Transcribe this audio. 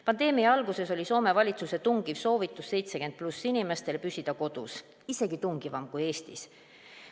Pandeemia alguses oli Soome valitsuse tungiv soovitus 70+ inimestel püsida kodus – isegi tungivam kui Eestis.